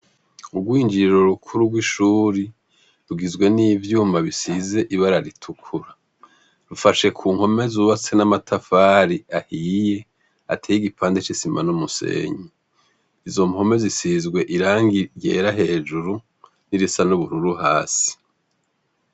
Urwinjiriro rukuru rw' ishuri, rigizwe n' ivyuma bifise ibara ritukura. Bufashe ku mpome zubatse n' amatafari ahiye, ateye igipande c' isima n' umusenyi .izo mpome zisizwe irangi ryera hejuru, n' irisa n' ubururu hasi.